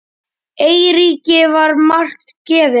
Eiríki var margt gefið.